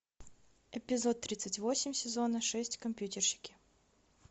эпизод тридцать восемь сезона шесть компьютерщики